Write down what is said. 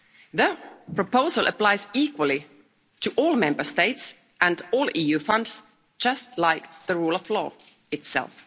That proposal applies equally to all Member States and all EU funds, just like the rule of law itself.